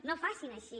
no facin així